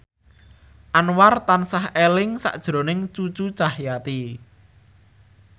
Anwar tansah eling sakjroning Cucu Cahyati